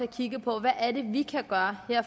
kigge på hvad vi kan gøre her